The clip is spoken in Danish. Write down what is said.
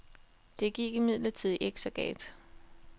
Det gik imidlertid ikke så galt.